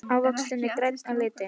Það er ekkert lát á þessu gosi?